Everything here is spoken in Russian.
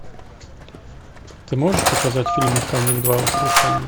ты можешь показать фильм механик два воскрешение